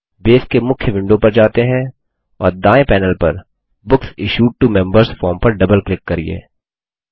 base के मुख्य window पर जाते है और दायें पैनेल पर books issued to members form पर डबल क्लिक करिये